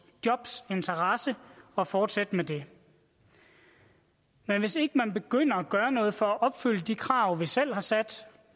jobs interesse at fortsætte med det men hvis ikke man begynder at gøre noget for at opfylde de krav vi selv har sat